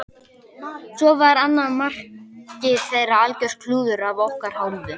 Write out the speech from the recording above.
Svo var annað markið þeirra algjört klúður af okkar hálfu.